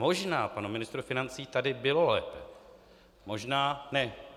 Možná panu ministrovi financí tady bylo lépe, možná ne.